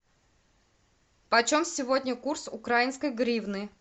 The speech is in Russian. по чем сегодня курс украинской гривны